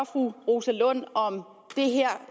fru rosa lund om det her